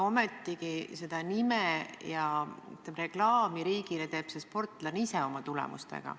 Ometigi endale nime ja reklaami riigile teeb sportlane oma tulemustega.